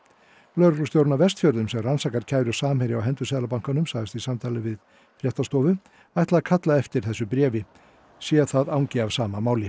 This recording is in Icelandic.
lögreglustjórinn á Vestfjörðum sem rannsakar kæru Samherja á hendur Seðlabankanum sagðist í samtali við fréttastofu ætla að kalla eftir þessu bréfi sé það angi af sama máli